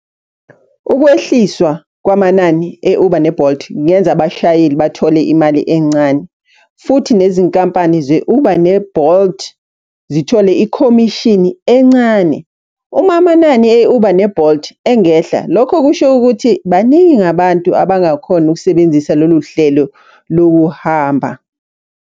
Ukwehliswa kwamanani e-Uber ne-Bolt, kungenza abashayeli bathole imali encane. Futhi nezinkampani ze-Uber ne-Bolt, zithole ikhomishini encane. Uma amanani e-Uber ne-Bolt engehla, lokho kusho ukuthi baningi abantu abangakhona ukusebenzisa lolu hlelo lokuhamba.